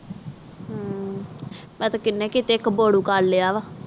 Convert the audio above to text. ਮੈਂ ਤਾ ਕੀਨੇ ਕੀਨੇ ਕਪੁਰੁ ਕਲ ਲਿਆ ਵਾ